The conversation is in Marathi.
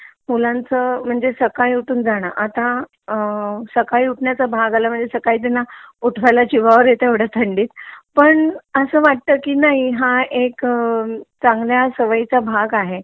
मुलांचा सकाळी उठून जण आता अ सकाळी उठण्याच भाग आला त्यांना उठवायला जिवावर येत एवढ्या थंडीत पण असा वाटत की नाही हा एक चांगल्या सवयीचा भाग आहे